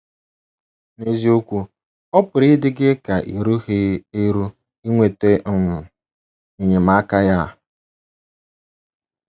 N’eziokwu, ọ pụrụ ịdị gị ka i rughị eru inweta um enyemaka ya.